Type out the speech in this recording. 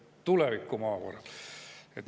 Tulevikumaavara!